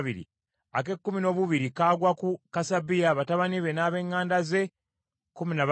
ak’ekkumi noobusatu kagwa ku Subayeri, batabani be n’ab’eŋŋanda ze, kkumi na babiri;